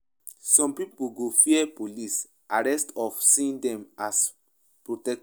Some pipo go fear police instead of seeing dem as protectors.